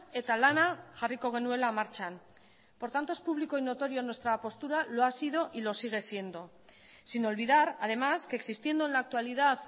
eta lana jarriko genuela martxan por tanto es público y notorio nuestra postura lo ha sido y lo sigue siendo sin olvidar además que existiendo en la actualidad